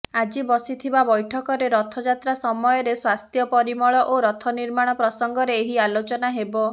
ଆଜି ବସିଥିବା ବୈଠକରେ ରଥଯାତ୍ରା ସମୟରେ ସ୍ୱାସ୍ଥ୍ୟ ପରିମଳ ଓ ରଥ ନିର୍ମାଣ ପ୍ରସଙ୍ଗରେ ଏହି ଆଲୋଚନା ହେବ